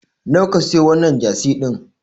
Nawa ka siyo wannan Jasi din?